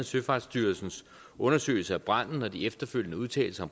søfartsstyrelsens undersøgelse af branden og de efterfølgende udtalelser